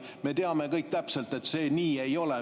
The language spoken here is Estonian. Me teame kõik täpselt, et see nii ei ole.